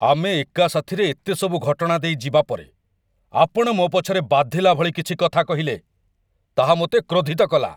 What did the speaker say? ଆମେ ଏକା ସାଥିରେ ଏତେ ସବୁ ଘଟଣା ଦେଇ ଯିବା ପରେ, ଆପଣ ମୋ ପଛରେ ବାଧିଲା ଭଳି କିଛି କଥା କହିଲେ, ତାହା ମୋତେ କ୍ରୋଧିତ କଲା।